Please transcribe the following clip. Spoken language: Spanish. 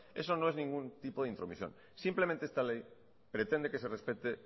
eso no es ningún tipo de intromisión simplemente esta ley pretende que se respete